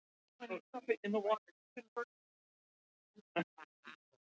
En þetta er ég einmitt alltaf að segja ykkur.